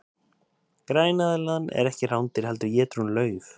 græneðlan er ekki rándýr heldur étur hún lauf